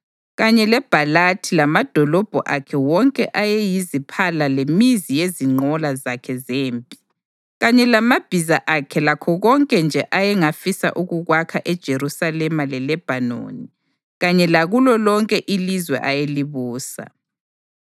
kanye leBhalathi lamadolobho akhe wonke ayeyiziphala lemizi yezinqola zakhe zempi kanye lamabhiza akhe lakho konke nje ayengafisa ukukwakha eJerusalema leLebhanoni kanye lakulo lonke ilizwe ayelibusa.